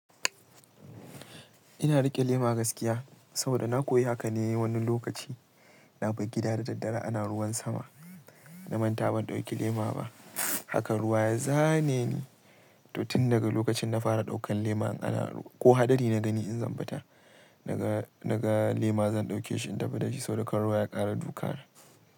Ina riƙe lema gaskiya saboda na koyi haka ne wani lokaci. Na bar gida da daddare ana ruwan sama, na manta ban ɗauki lema ba. Hakan ruwa ya zane ni, to tun daga lokacin na fara ɗaukan lema in ana ko hadari na gani in zan fita naga--naga lema zan ɗauke shi in tafi dashi saboda kar ruwa ya ƙara duka.